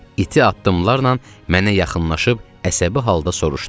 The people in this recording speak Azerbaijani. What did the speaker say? İti addımlarla mənə yaxınlaşıb əsəbi halda soruşdu.